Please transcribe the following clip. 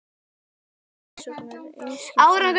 Á Guðs leiðsögn og einskis annars!